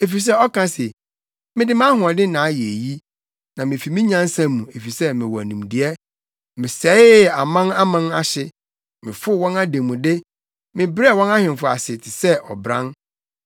Efisɛ ɔka se, “ ‘Mede mʼahoɔden na ayɛ eyi, na mifi me nyansa mu, efisɛ mewɔ nimdeɛ. Mesɛee aman aman ahye, mefow wɔn ademude; mebrɛɛ wɔn ahemfo ase te sɛ ɔbran.